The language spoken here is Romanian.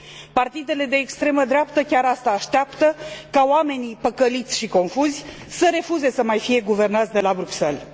Partidele de extremă dreaptă chiar asta așteaptă, ca oamenii păcăliți și confuzi să refuze să mai fie guvernați de la Bruxelles.